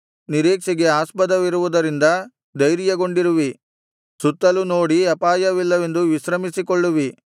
ನಿರೀಕ್ಷೆಗೆ ಆಸ್ಪದವಿರುವುದರಿಂದ ಧೈರ್ಯಗೊಂಡಿರುವಿ ಸುತ್ತಲೂ ನೋಡಿ ಅಪಾಯವಿಲ್ಲವೆಂದು ವಿಶ್ರಮಿಸಿಕೊಳ್ಳುವಿ